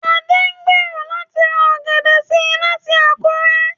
Adé ń gbèrò láti ra ọ̀gẹ̀dẹ̀ sí láti Àkúrẹ́